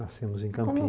Nascemos em Como